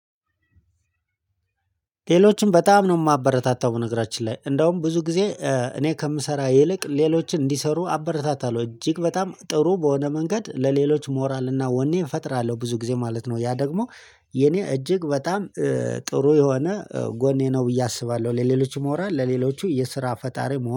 ሌሎችን በጣም ነው የማበረታታው በነገራችን ላይ እንደውም ብዙ ጊዜ እኔ ከምሰራ ይልቅ ሌሎችን እንዲሰሩ አበረታታለሁ እጅግ በጣም ጥሩ በሆነ መንገድ ለሌሎች ሞራልና ወኔ እፈጥራለሁ ብዙ ጊዜ ማለት ነው ያ ደግሞ የኔ እጅግ በጣም ጥሩ የሆነ ጎኔ ነው ብዬ አስባለሁ። ለሌሎችም ለሌሎቹ የስራ ፈጣሪ ሞራል